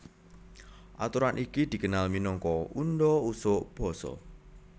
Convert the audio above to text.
Aturan iki dikenal minangka undha usuk basa